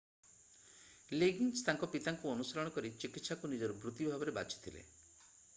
Liggins ତାଙ୍କ ପିତାଙ୍କୁ ଅନୁସରଣ କରି ଚିକିତ୍ସାକୁ ନିଜର ବୃତି ଭାବରେ ବାଛିଥିଲେ